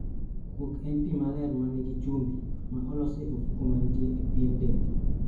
Kuok en pi maler ma nigi chumbi, ma olosi e ofuke manitie e pien dendi.